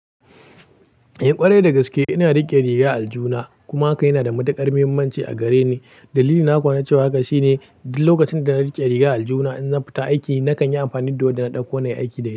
Eh ƙwarai da gaske ina riƙe riga a aljihuna, kuma hakan yana da matuƙar mahimmanci a gareni. Dalili na kuwa na cewa hakan shine duk lokacin da na riƙe riga a aljuna, in zan fita aiki na kan yi amfani da wadda na ɗauko na yi aiki da ita.